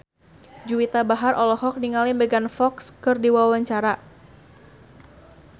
Juwita Bahar olohok ningali Megan Fox keur diwawancara